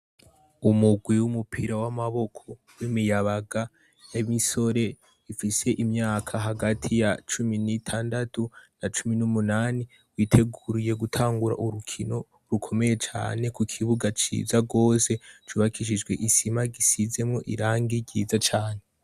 Umugwi w'umupira w'amaboko w'imiyabaga ya misore ifise imyaka hagati ya cumi n'itandatu na cumi n'umunani witeguriye gutangura urukino rukomeye cane ku ikibuga ciza rwose cubakishijwe isima gisizemwo irangi ryiza cane.